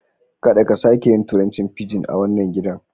Kaɗa ka sake yin turancin fijin a wannan gidan